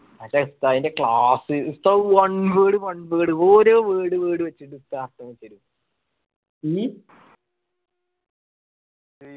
മറ്റേ ഉസ്താദിന്റെ class ഉസ്താദ് one word one word ഓരോ word word വെച്ച് ഉസ്താദ് class എടുത്തരും